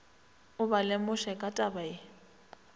o ba lemoše ka tabaye